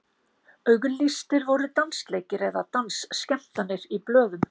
auglýstir voru dansleikir eða dansskemmtanir í blöðum